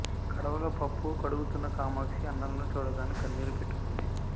కడవలో పప్పు కడుగుతున్న కామాక్షి అన్నలను చూడగానే కన్నీరు పెట్టుకుంది